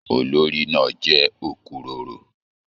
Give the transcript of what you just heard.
Olórí náà jẹ okuroro.